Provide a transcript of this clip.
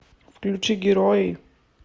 включи герои